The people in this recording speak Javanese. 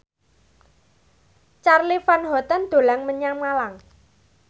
Charly Van Houten dolan menyang Malang